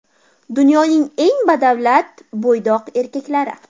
Dunyoning eng badavlat bo‘ydoq erkaklari.